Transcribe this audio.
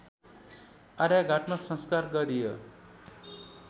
आर्यघाटमा संस्कार गरियो